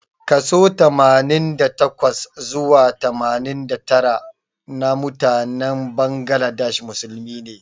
Kaso Tamanin da takwa zuwa tamanin da tara namutanen Bangladesh musulmi ne.